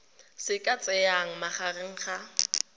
se ka tsayang magareng ga